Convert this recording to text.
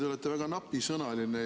Te olete väga napisõnaline.